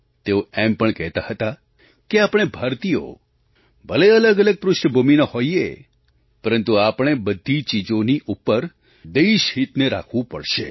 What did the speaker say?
તેઓ એમ પણ કહેતા હતા કે આપણે ભારતીયો ભલે અલગઅલગ પૃષ્ઠભૂમિના હોઈએ પરંતુ આપણે બધી ચીજોની ઉપર દેશહિતને રાખવું પડશે